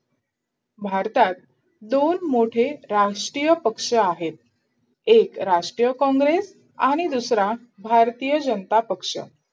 भारतात दोन मोठे राष्ट्रीय पक्ष आहेत एक राष्ट्रीय कॉंग्रेस आणि दुसरा भारतीय जनता पक्ष